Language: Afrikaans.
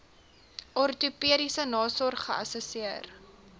ortopediese nasorg geassesseer